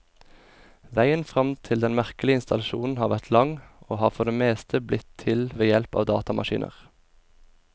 Veien frem til den merkelige installasjonen har vært lang, og har for det meste blitt til ved hjelp av datamaskiner.